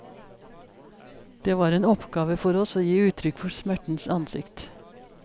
Det var en oppgave for oss å gi uttrykk for smertens ansikt.